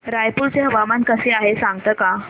रायपूर चे हवामान कसे आहे सांगता का